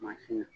Mansin